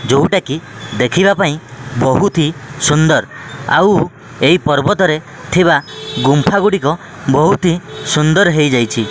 ଯୋଉଟା କି ଦେଖିବା ପାଇଁ ବହୁତ୍ ହି ସୁନ୍ଦର ଆଉ ଏହି ପର୍ବତରେ ଥିବା ଗୁମ୍ଫାଗୁଡିକ ବହୁତହୀ ସୁନ୍ଦର ହେଇଯାଇଛି।